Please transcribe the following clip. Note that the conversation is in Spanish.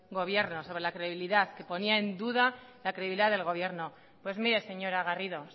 gobierno sobre la credibilidad que ponía en duda la credibilidad del gobierno pues mire señora garrido